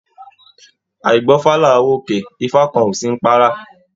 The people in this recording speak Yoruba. Àígbọ́fá làá w'òkè, ifá kàn ọ sí ní párá.